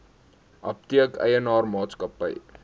apteek eienaar maatskappy